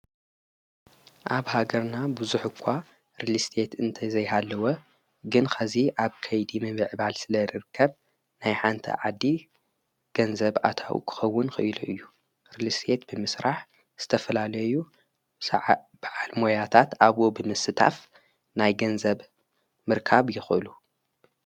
ኣብ ሃገርና ብዙኅ እኳ ርሊስት እንተ ዘይሃለወ ግን ኸዚ ኣብ ከይዲ መቢዕባል ስለ ርርከብ ናይ ሓንቲ ዓዲ ገንዘብ ኣታው ክኸውን ኽይሉ እዩ ርልስት ብምስራሕ ስተፈላለዩ ዓብዓልሞያታት ኣብቦ ብምስታፍ ናይ ገንዘብ ምርካብ የኸሉ::